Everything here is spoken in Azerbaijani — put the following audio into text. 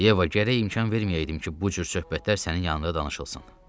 Yeva, gərək imkan verməyəydim ki, bu cür söhbətlər sənin yanında danışılsın.